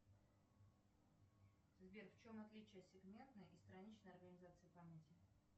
сбер в чем отличие сегментной и страничной организации памяти